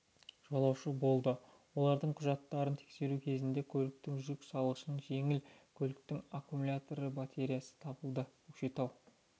жолаушы болды олардың құжаттарын тексеру кезінде көліктің жүк салғышынан жеңіл көліктің аккмулятор батареясы табылды көкшетау